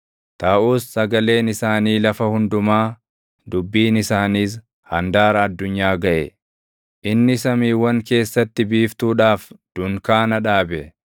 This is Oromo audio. Taʼus sagaleen isaanii lafa hundumaa, dubbiin isaaniis handaara addunyaa gaʼe. Inni samiiwwan keessatti biiftuudhaaf dunkaana dhaabe;